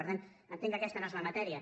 per tant entenc que aquesta no és la matèria